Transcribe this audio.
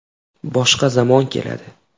Boshqa zamon keladi.